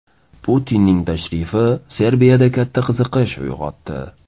Putinning tashrifi Serbiyada katta qiziqish uyg‘otdi.